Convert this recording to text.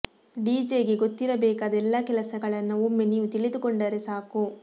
DJ ಗೆ ಗೊತ್ತಿರಬೇಕಾದ ಎಲ್ಲಾ ಕೆಲಸಗಳನ್ನ ಒಮ್ಮೆ ನೀವು ತಿಳಿದುಕೊಂಡರೆ ಸಾಕು